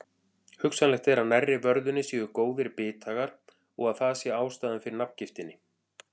Hugsanlegt er að nærri vörðunni séu góðir bithagar og að það sé ástæðan fyrir nafngiftinni.